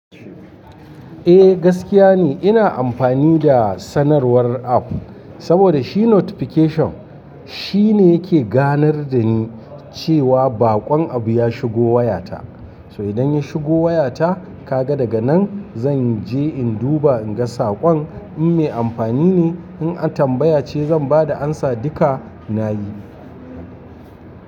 Eh gaskiya ne ina amfani da sanarwar app saboda shi notification shine yake ganar da ni cewa baƙon abu ya shigo wayata. To idan ya shigo wayata kaga daga nan zan je in duba in ga saƙon in mai amfani ne in an tambaya ce zan ba da amsa duka na yi.